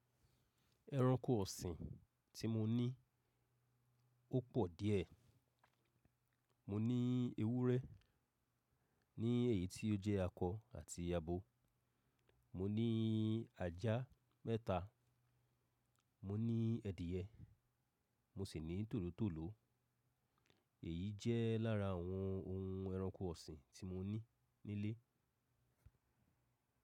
Ẹranko ọ̀sìn tí mo ní ó pọ̀ díẹ̀. Mo ní ewúrẹ́, ní èyí tí ó jẹ́ akọ àti abo. Mo ní ajá mẹ́ta, mo ní ẹ̀dìyẹ, mo sì ní tòlótòló. Èyí jẹ́ lára àwọn ohun ẹranko ọ̀sìn tí mo ní nílé.